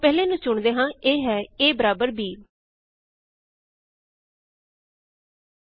ਆਓ ਪਹਿਲੇ ਨੂੰ ਚੁਣਦੇ ਹਾਂ ਇਹ ਹੈ a is equal to b